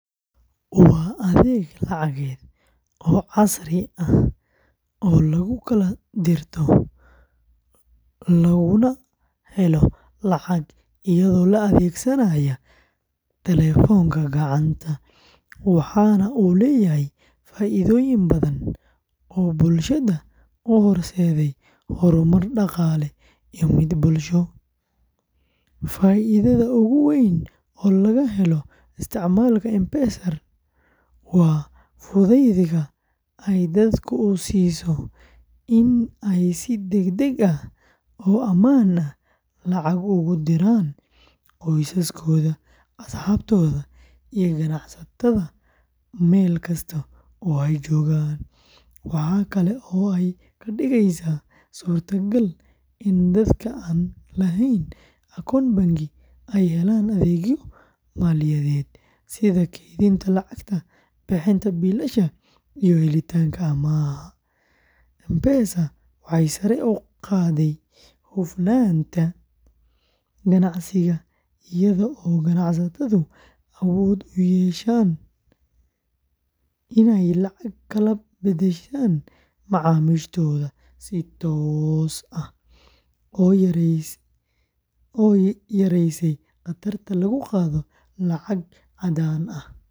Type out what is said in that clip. Waa adeeg lacageed oo casri ah oo lagu kala dirto laguna helo lacag iyadoo la adeegsanayo taleefanka gacanta, waxaana uu leeyahay faa’iidooyin badan oo bulshada u horseeday horumar dhaqaale iyo mid bulsho. Faa’iidada ugu weyn ee laga helo isticmaalka M-Pesa waa fudaydka ay dadka u siiso in ay si degdeg ah oo ammaan ah lacag ugu diraan qoysaskooda, asxaabtooda, iyo ganacsatada meel kasta oo ay joogaan. Waxa kale oo ay ka dhigeysaa suurtagal in dadka aan lahayn akoon bangi ay helaan adeegyo maaliyadeed sida kaydinta lacagta, bixinta biilasha, iyo helitaanka amaah. M-Pesa waxay sare u qaadday hufnaanta ganacsiga iyada oo ganacsatadu awood u yeesheen inay lacag kala beddeshaan macaamiishooda si toos ah, taas oo yaraysay khatarta lagu qaado lacag caddaan ah.